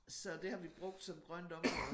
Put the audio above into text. Så det har vi brugt som grønt område